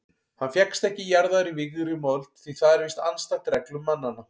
Hann fékkst ekki jarðaður í vígðri mold því það er víst andstætt reglum mannanna.